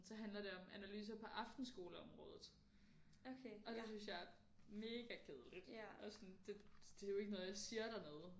Så handler det om analyser på aftenskoleområdet og det synes jeg er mega kedeligt og sådan det det er jo ikke noget der siger dig noget